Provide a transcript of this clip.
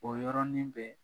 O yɔrɔnin bɛɛ